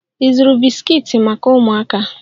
Ị zụrụ bisikiiti maka ụmụaka?